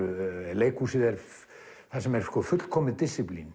leikhúsið þar sem er fullkomið